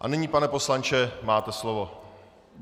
A nyní, pane poslanče, máte slovo.